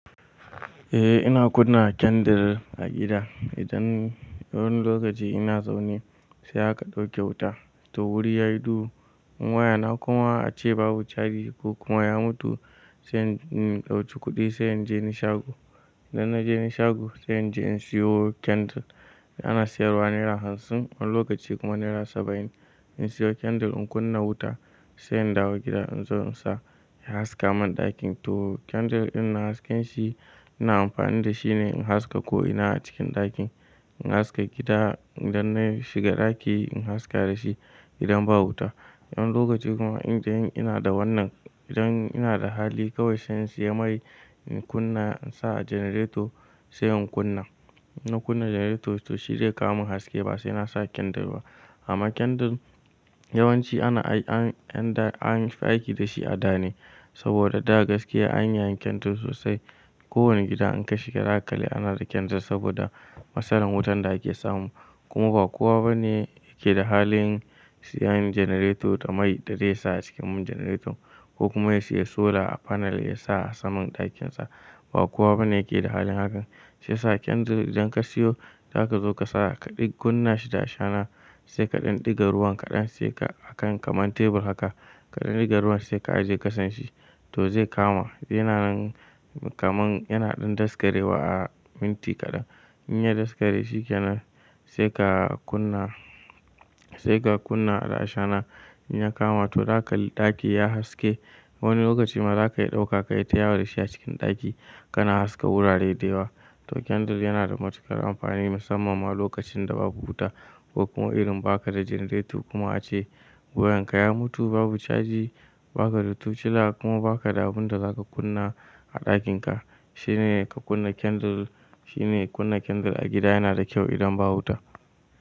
Eh ina kunna candle a gida idan wani lokaci ina zaune sai aka dauke wuta to wuri yayi duhu. Wayana kuma ace babu caji ko kuma ya mutu sai in ɗauki kuɗi sai in je ni shago. Idan na je ni shago sai in je in siyo candle ana sayarwa naira hamsin wani lokaci kuma naira saba'in. In siyo candle in kunna wuta sai in dawo gida in zo in sa ya haska mun ɗakin. To candle dinnan hasken shi ina amfani da shi ne in haska ko'ina a cikin ɗakin. In haska gida idan nayi shiga ɗaki in haska dashi idan ba wuta. Wani lokaci kuma indai in ina da wannan, idan ina da hali kawai sai in siya mai in kunna in sa a janareto sai in kunna. Inna kunna janareto to shi zai kawomin haske ba sai na sa kendir ba. Amma candle yawanci ana an an yi aiki dashi a da ne saboda da gaskiya an yi yayin candle sosai. Ko wani gida in ka shiga za ka kalli ana da candle saboda matsalan wutan da ake samu. Kuma ba kowa bane yake da halin siyan janareto da mai da zai sa a cikin janareton ko kuma ya siya sola panel ya sa a saman ɗakin sa. Ba kowa bane yake da halin hakan. Shi ya sa candle idan ka siyo zaka zo ka sa kaɗai kunna shi da ashana sai kaɗan ɗiga ruwan kaɗan sai ka a kan kamar tebur haka kaɗan ɗiga ruwan sai ka ajiye ƙasan shi to zai kama. Yana nan kaman yana ɗan daskare wa a minti kaɗan. In ya daskare shikenan sai ka kunna sai ka kunna da ashana in ya kama to dakaji ɗakin ya yi haske. Wani lokaci ma za ka iya ɗauka ka yi tayawo da shi a cikin ɗaki kana haska wurare da yawa. To candle yana da matuƙar amfani musamman ma lokacin da babu wuta ko kuma irin baka da janareto kuma ace wayan ka ya mutu babu caji baka da tocila kuma baka da abun da zaka kunna a ɗakin ka. Shine ka kunna candle shine kunna candle a gida yana da kyau idan ba wuta.